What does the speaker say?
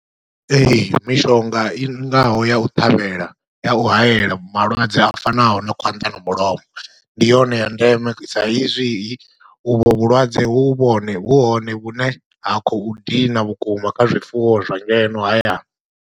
Ee, mishonga i ngaho ya u ṱhavhela, ya u hayela malwadze a fanaho na khwanḓa na mulomo, ndi yone ya ndeme saizwi u vho vhulwadze hu vhone, vhu hone vhune ha khou dina vhukuma kha zwifuwo zwa ngeno hayani.